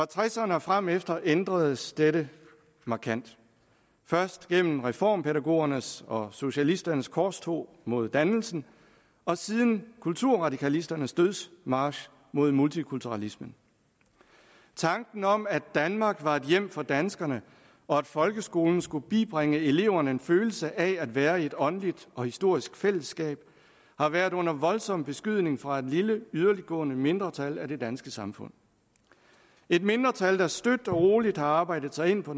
tresserne og fremefter ændredes dette markant først gennem reformpædagogernes og socialisternes korstog mod dannelsen og siden kulturradikalisternes dødsmarch mod multikulturalismen tanken om at danmark var et hjem for danskerne og at folkeskolen skulle bibringe eleverne en følelse af at være i et åndeligt og historisk fællesskab har været under voldsom beskydning fra et lille yderligtgående mindretal af det danske samfund et mindretal der støt og roligt har arbejdet sig ind på